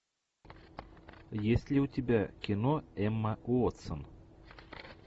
есть ли у тебя кино эмма уотсон